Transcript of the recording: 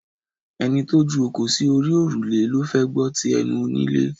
Ẹni tó ju òkò sí òrùlé ló fẹ́ gbọ́ ti ẹnu onílé